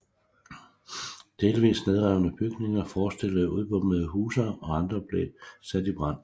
Delvis nedrevne bygninger forestillede udbombede huse og andre blev sat i brand